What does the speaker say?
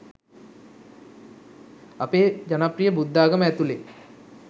අපේ ජනප්‍රිය බුද්ධාගම ඇතුළේ